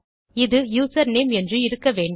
இது யூசர்நேம் என்று இருக்க வேண்டும்